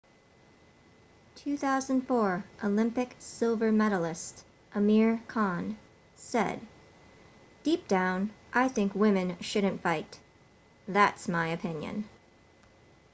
2004 olympic silver medallist amir khan said deep down i think women shouldn't fight that's my opinion